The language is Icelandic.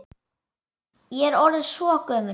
Ég er orðin svo gömul.